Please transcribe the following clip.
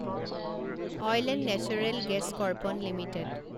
oil and natural gas corporation limited